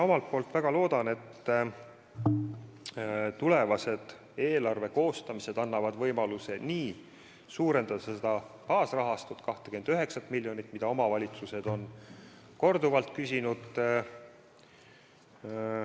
Ma väga loodan, et tulevased eelarve koostamised annavad võimaluse seda baasrahastust, seda 29 miljonit suurendada, mida omavalitsused on korduvalt palunud.